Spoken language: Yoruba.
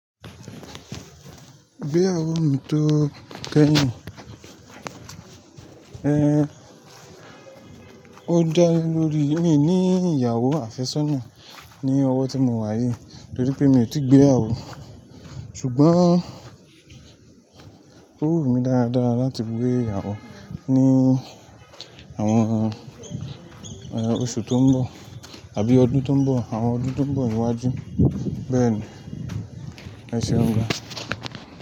Gbé ara rẹ mi tó kẹ́yìn. Ẹ Ó dá lórí mí ní ìyàwó àfẹ́sọ́nà ní ọwọ́ tí mo wà yìí torí pé mi ò tí gbé iyawo. Ṣùgbọ́n ó wù mí dáadáa láti gbé ara ní àwọn, e, oṣù tó ń bọ̀ àbí ọdún tó ń bọ̀, àwọn ọdún tó ń bọ̀ iwájú. Bẹ́ẹ̀ ni, eṣẹun gan.